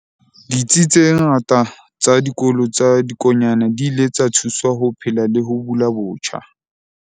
Ditsi tse ngata tsa Dikolo tsa Dikonyana di ile tsa thuswa ho phela le ho bula botjha.